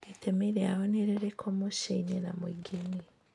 Itemi rĩao nĩ rĩrĩkũ mũciĩ-inĩ/mũingĩ-inĩ?